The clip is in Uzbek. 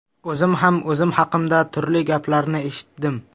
O‘zim ham o‘zim haqimda turli gaplarni eshitdim.